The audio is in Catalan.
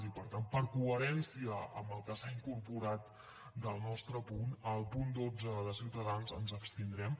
i per tant per coherència amb el que s’ha incorporat del nostre punt en el punt dotze de ciutadans ens abstindrem